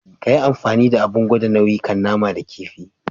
Kayi amfani da Abin gwada nauyi ka nama da kifi.